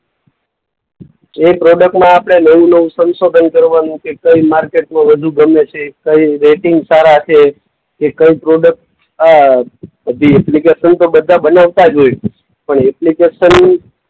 એ પ્રોડક્ટમાં આપણે નવું-નવું સંશોધન કરવાનું કે કઈ માર્કેટમાં વધુ ગમે છે, કઈ રેટિંગ સારા છે. કે કઈ પ્રોડક્ટ અ એપ્લિકેશન તો બધા બનાવતા જ હોય છે. પણ એપ્લિકેશન